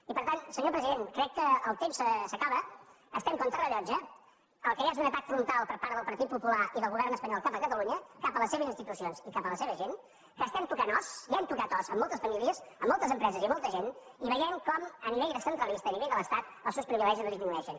i per tant senyor president crec que el temps s’acaba estem contra rellotge el que hi ha és un atac frontal per part del partit popular i del govern espanyol cap a catalunya cap a les seves institucions i cap a la seva gent que estem tocant os ja hem tocat os en moltes famílies en moltes empreses i en molta gent i veiem com a nivell centralista a nivell de l’estat els seus privilegis no disminueixen